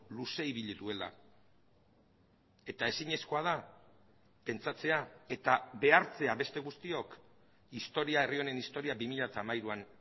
luze ibili duela eta ezinezkoa da pentsatzea eta behartzea beste guztiok historia herri honen historia bi mila hamairuan